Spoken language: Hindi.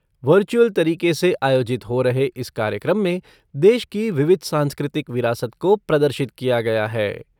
वर्चुअल तरीके से आयोजित हो रहे इस कार्यक्रम में देश की विविध सांस्कृतिक विरासत को प्रदर्शित किया गया है।